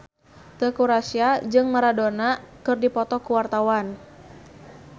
Teuku Rassya jeung Maradona keur dipoto ku wartawan